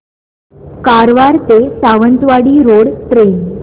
कारवार ते Sawantwadi road train